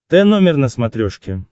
т номер на смотрешке